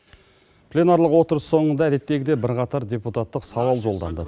пленарлық отырыс соңында әдеттегідей бірқатар депутаттық сауал жолданды